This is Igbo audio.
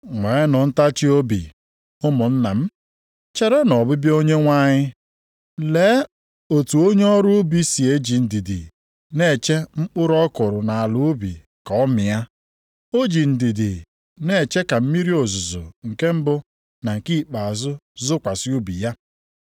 Nweenụ ntachiobi, ụmụnna m, cherenụ ọbịbịa Onyenwe anyị. Lee otu onye ọrụ ubi si eji ndidi na-eche mkpụrụ ọ kụrụ nʼala ubi ka ọ mịa. O ji ndidi na-eche ka mmiri ozuzo nke mbụ na nke ikpeazụ zokwasị ubi ya.